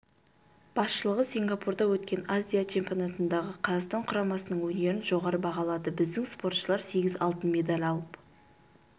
басшылығы сингапурда өткен азия чемпионатындағы қазақстан құрамасының өнерін жоғары бағалады біздің спортшылар сегіз алтын медаль алып